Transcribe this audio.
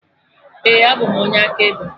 Ee, abụ m onye akaebe